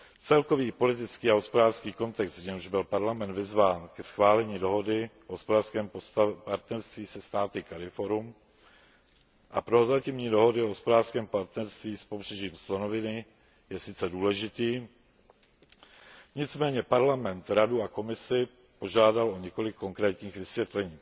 Celkový politický a hospodářský kontext, v němž byl Parlament vyzván ke schválení dohody o hospodářském partnerství se státy CARIFORUM a prozatímní dohody o hospodářském partnerství s Pobřežím slonoviny, je sice důležitý, nicméně Parlament Radu a Komisi požádal o několik konkrétních vysvětlení.